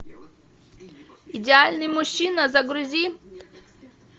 идеальный мужчина загрузи